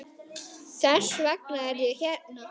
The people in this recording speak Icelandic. Þess vegna er ég hérna.